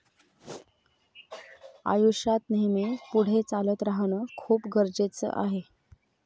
आयुष्यात नेहमी पुढे चालत राहणं खूप गरजेचं आहे.